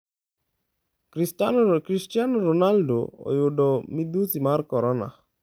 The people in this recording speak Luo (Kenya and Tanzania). Cristiano Ronaldo oyudo midhusi mar korona